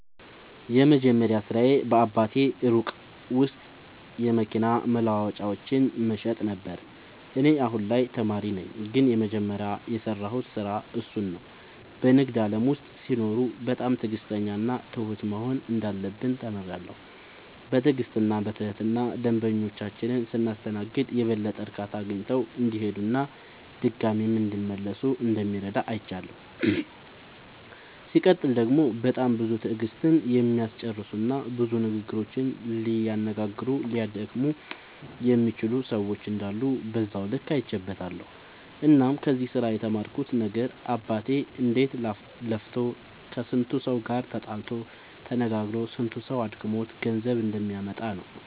የመጀመሪያ ስራዬ በአባቴ ሱቅ ውስጥ የመኪና መለዋወጫዎችን መሸጥ ነበረ። እኔ አሁን ላይ ተማሪ ነኝ ግን የመጀመሪያ የሰራሁት ስራ እሱን ነው። በንግድ ዓለም ውስጥ ሲኖሩ በጣም ትዕግሥተኛና ትሁት መሆን እንዳለብን ተምሬያለሁ። በትዕግሥትና በትህትና ደንበኞቻችንን ስናስተናግድ የበለጠ እርካታ አግኝተው እንዲሄዱና ድጋሚም እንዲመለሱ እንደሚረዳ አይቻለሁ። ሲቀጥል ደግሞ በጣም ብዙ ትዕግሥትን የሚያስጨርሱና ብዙ ንግግሮችን ሊያነጋግሩና ሊያደክሙ የሚችሉ ሰዎች እንዳሉ በዛው ልክ አይቼበትበታለሁ። እናም ከዚህ ስራ የተማርኩት ነገር አባቴ እንዴት ለፍቶ ከስንቱ ሰው ጋር ተጣልቶ ተነጋግሮ ስንቱ ሰው አድክሞት ገንዘብ እንደሚያመጣ ነው።